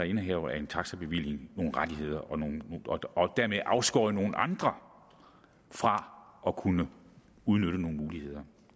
indehavere af en taxabevilling nogle rettigheder og dermed afskåret nogle andre fra at kunne udnytte nogle muligheder